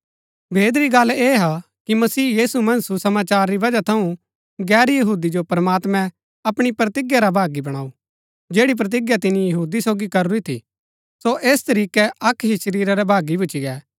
भेद री गल्ल ऐह हा कि मसीह यीशु मन्ज सुसमाचार री वजह थऊँ गैर यहूदी जो प्रमात्मैं अपणी प्रतिज्ञा रा भागी बणाऊ जैड़ी प्रतिज्ञा तिनी यहूदी सोगी करूरी थी सो ऐस तरीकै अक्क ही शरीरा रै भागी भूच्ची गै